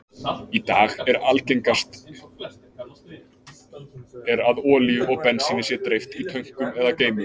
Í dag er algengast er að olíu og bensíni sé dreift í tönkum eða geymum.